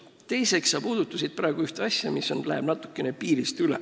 Teiseks, sa puudutasid ühte asja, mis läheb natuke üle piiri.